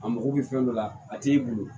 A mago bɛ fɛn dɔ la a t'i bolo